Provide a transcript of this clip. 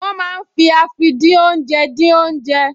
Wọ́n máa ń fi àfìdínoúnjẹ dín oúnjẹ